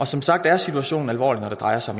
som sagt er situationen alvorlig når det drejer sig